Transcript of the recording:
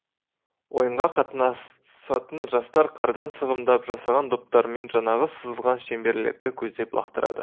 ойынға қатынасатын жастар қардан сығымдап жасаған доптарымен жаңағы сызылған шеңберлерді көздеп лақтырады